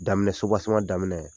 Daminɛ sobaseman daminɛ